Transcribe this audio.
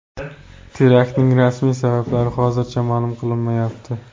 Teraktning rasmiy sabablari hozircha ma’lum qilinmayapti.